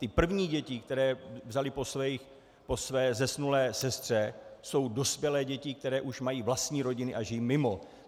Ty první děti, které vzali po své zesnulé sestře, jsou dospělé děti, které už mají vlastní rodiny a žijí mimo.